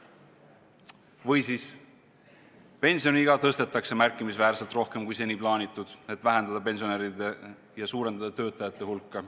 Või siis pensioniiga tõstetakse märkimisväärselt rohkem, kui seni plaanitud, et vähendada pensionäride ja suurendada töötajate hulka.